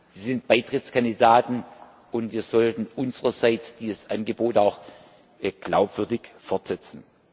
Sie sind Beitrittskandidaten, und wir sollten unsererseits dieses Angebot auch glaubwürdig fortsetzen.